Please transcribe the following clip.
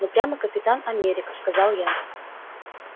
ну прямо капитан америка сказал я